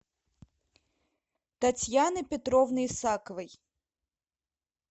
татьяны петровны исаковой